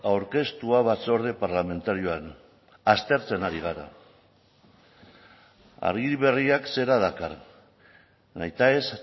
aurkeztua batzorde parlamentarioan aztertzen ari gara agiri berriak zera dakar nahitaez